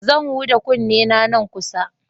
Zan huda kunnena nan kusa.